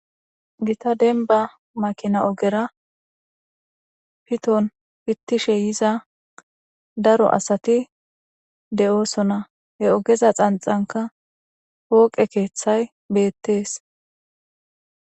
Giththa demba makina oggera piththon pithishe yizza daro assathi deo'ssonna. He oggeza xanxankka foqqe keeththay bethess.